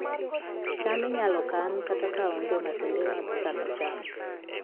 cham inyalo kan kata ka onge masinde mag kano cham